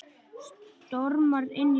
Stormar inn í stofu.